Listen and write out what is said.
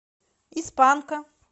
из панка